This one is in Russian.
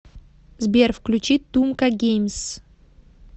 сбер включи тумка геймс